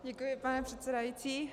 Děkuji, pane předsedající.